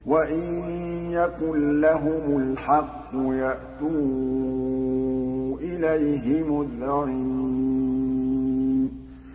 وَإِن يَكُن لَّهُمُ الْحَقُّ يَأْتُوا إِلَيْهِ مُذْعِنِينَ